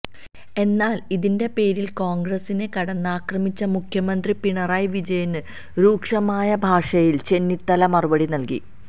എന്നാല് ഇതിന്റെ പേരില് കോണ്ഗ്രസിനെ കടന്നാക്രമിച്ച മുഖ്യമന്ത്രി പിണറായി വിജയന് രൂക്ഷമായ ഭാഷയില് ചെന്നിത്തല മറുപടി നല്കി